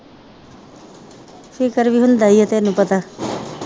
ਫਿਕਰ ਵੀ ਹੁੰਦਾ ਹੀ ਆ ਤੈਨੂੰ ਪਤਾ